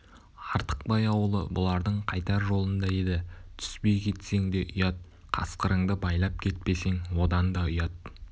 артықбай ауылы бұлардың қайтар жолында еді түспей кетсең де ұят қасқырыңды байлап кетпесең одан да ұят